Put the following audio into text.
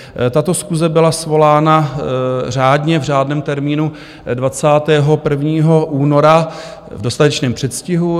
Tato schůze byla svolána řádně v řádném termínu 21. února v dostatečném předstihu.